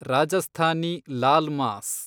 Rajasthani laal mass